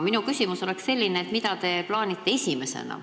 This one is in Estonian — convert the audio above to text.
Minu küsimus on aga selline: mida te plaanite esimesena?